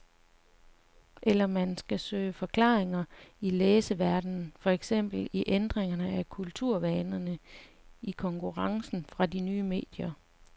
Eller skal man søge forklaringerne i læserverdenen, for eksempel i ændringerne af kulturvanerne, i konkurrencen fra de nye medier.